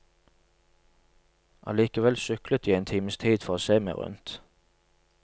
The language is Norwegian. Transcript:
Allikevel syklet jeg en times tid for å se meg rundt.